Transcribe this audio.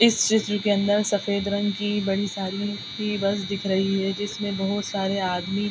इस स्टचू के अन्दर सफ़ेद रंग की बड़ी साड़ी ही बस दिख रही है जिसमें बोहोत सारे आदमी --